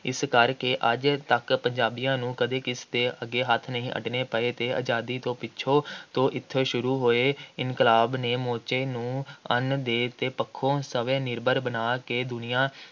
ਇਸ ਕਰਕੇ ਅੱਜ ਤੱਕ ਪੰਜਾਬੀਆਂ ਨੂੰ ਕਦੇ ਕਿਸੇ ਦੇ ਅੱਗੇ ਹੱਥ ਅੱਡਣੇ ਨਹੀਂ ਪਏ ਅਤੇ ਆਜ਼ਾਦੀ ਤੋਂ ਪਿੱਛੋਂ ਤੋਂ ਇੱਥੇ ਸ਼ੁਰੂ ਹੋਏ, ਇਨਕਲਾਬ ਨੇ ਸਮੁੱਚੇ ਨੂੰ ਅੰਨ ਦੇ ਪੱਖੋਂ ਸਵੈ-ਨਿਰਭਰ ਬਣਾ ਕੇ ਦੁਨੀਆ